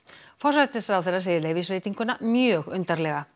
forsætisráðherra segir leyfisveitinguna mjög undarlega